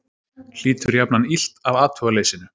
Hlýtur jafnan illt af athugaleysinu.